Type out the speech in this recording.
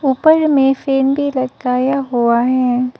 ऊपर में फैन भी लटकाया हुआ है।